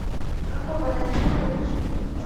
какого размера лыжи